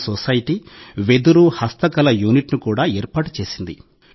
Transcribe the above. ఈ సొసైటీ వెదురు హస్తకళ యూనిట్ను కూడా ఏర్పాటు చేసింది